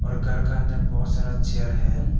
और घर के अंदर बहुत सारा चेयर है।